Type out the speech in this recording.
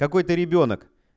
какой ты ребёнок